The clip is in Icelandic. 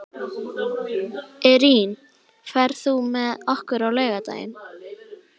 Irene, ferð þú með okkur á laugardaginn?